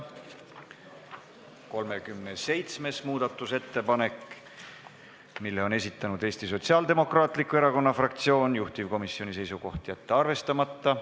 37. muudatusettepaneku on esitanud Sotsiaaldemokraatliku Erakonna fraktsioon, juhtivkomisjoni seisukoht: jätta see arvestamata.